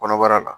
Kɔnɔbara la